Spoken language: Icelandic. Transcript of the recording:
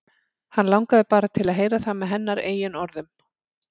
Hann langaði bara til að heyra það með hennar eigin orðum.